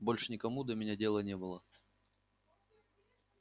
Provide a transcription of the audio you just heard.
больше никому до меня дела не было